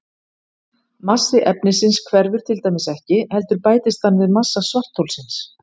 Massi efnisins hverfur til dæmis ekki heldur bætist hann við massa svartholsins.